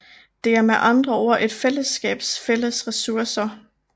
Det er med andre ord et fællesskabs fælles ressourcer